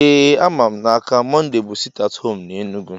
Ee ama m n’aka, Mọnde bu siti at home na Enugu